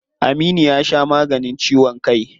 Aminu ya sha maganin ciwon kai.